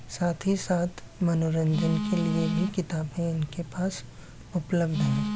साथ ही साथ मनोरंजन के लिए भी किताबें इनके पास उपलब्ध है।